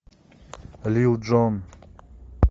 лил джон